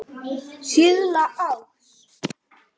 Síðla árs.